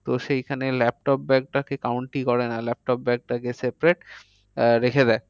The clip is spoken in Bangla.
তো সেইখানে laptop bag টাকে count ই করে না। laptop bag টাকে separate আহ রেখে দেয়।